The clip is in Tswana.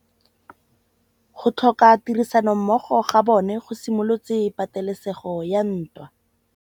Go tlhoka tirsanommogo ga bone go simolotse patêlêsêgô ya ntwa.